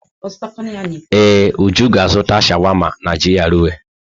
Ee, Uju ga-azụta sháwámá n'GRA.